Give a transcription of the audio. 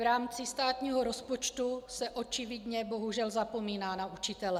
V rámci státního rozpočtu se očividně bohužel zapomíná na učitele.